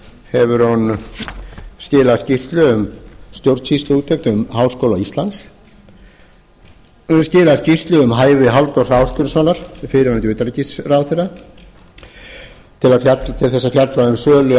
hefur hún skilað skýrslu um stjórnsýsluúttekt um háskóla íslands hún hefur skilað skýrslu um hæfi halldórs ásgrímssonar fyrrverandi utanríkisráðherra til þess að fjalla um sölu